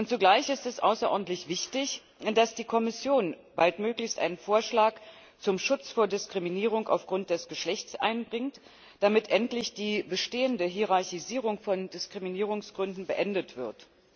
Zugleich ist es außerordentlich wichtig, dass die Kommission baldmöglichst einen Vorschlag zum Schutz vor Diskriminierung aufgrund des Geschlechts einbringt, damit endlich die bestehende Hierarchisierung von Diskriminierungsgründen beendet wird.